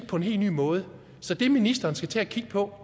på en helt ny måde så det ministeren skal til at kigge på